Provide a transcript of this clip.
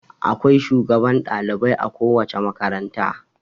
Akwai shugban dalibai a kowace makaranta.